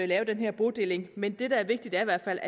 lave den her bodeling men det der er vigtigt er i hvert fald